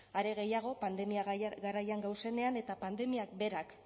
are gehiago pandemia garaian gauzenean eta pandemiak berak